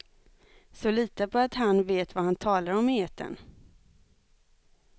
Så lita på att herrn vet vad han talar om i etern.